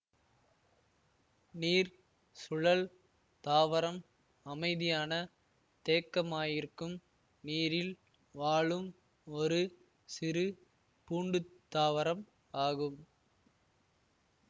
நீர் சுழல் தாவரம் அமைதியான தேக்கமாயிருக்கும் நீரில் வாழும் ஒரு சிறு பூண்டுத்தாவரம் ஆகும்